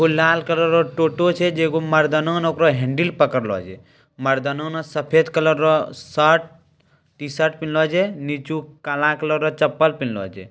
एगो लाल कलर टोटो छै जे एगो मर्दाना ना ओकरा हैंडलिंग पकरलो छै मर्दाना ना सफेद कलर शर्ट टी-शर्ट निचू काला कलर के चप्पल पिहन्ला छै।